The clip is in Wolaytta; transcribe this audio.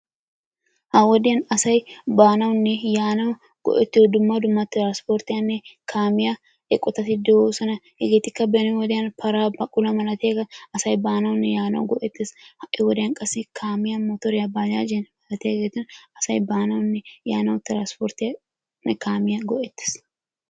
Ha wodiyaan asay baanawunne yaanaw go"ettiyo dumma dumma transporttiyanne kaamiyaa eqqotatti de'oosona. Hegetikka beni wodiyaan para, baquluwaa malatiuaageeta asay baanawunne yaanaw go"ettees. Ha'i wodiyaan qassi kaamiyaa, motoriyaa, bajajjiyaa malatiyaageeta asay baanawunne yaanaw transporttiyaanne kaamiyaa go"ettees.